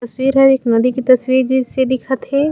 तस्वीर हे एक नदी की तस्वीर जैसी दिखत हे।